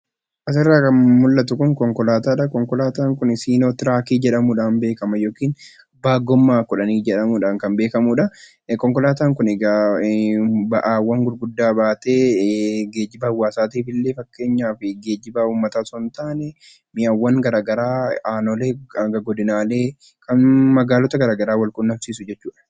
Asirraa kan mul'atu kun konkolaataa dhaa. Konkolaataan kun Siinootiraakii jedhamuu dhaan beekama. Yookiin Abbaa Gommaa Kudhanii jedhamuudhaan kan beekamuu dhaa. Konkolaataan kun egaa ba'aawwan gurguddaa baatee geejjiba hawaasaatiif illee fakeenyaaf geejjiba hawaasa osoo hin taane mi'awwan garaagaraa aanolee hanga godinaalee, kan magaalota garaagaraa wal quunnamsiisu jechuu dha.